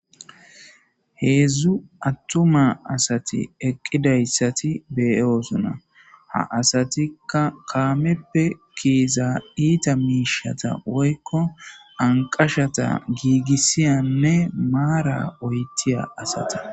heedzdzu attuma asati eqqidayssati beyoosona ha asatikka kaameppe keeza iita miishata woykko anqashata giigissiyanne maara oytiya asata